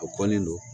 A kɔni don